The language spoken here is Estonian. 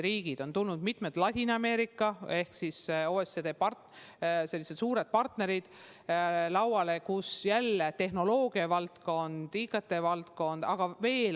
Lauale on tulnud mitmed Ladina-Ameerika ehk OECD suured partnerid, mille puhul on jälle esil tehnoloogiavaldkond, sh IKT.